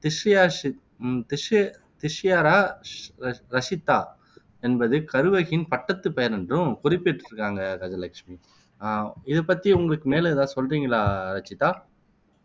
திஷ்யஷி Tishya Tishyarakshita என்பது கருவகியின் பட்டத்து பெயர் என்றும் குறிப்பிட்டு இருக்காங்க கஜலட்சுமி அஹ் இதை பத்தி உங்களுக்கு மேலும் எதாவது சொல்றீங்களா ரச்சிதா